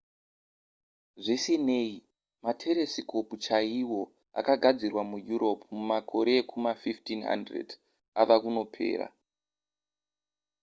zvisinei materesikopu chaiwo akagadzirwa mueurope mumakore ekuma1500 ava kunopera